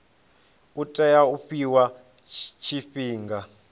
u tea u fhiwa tshifhinga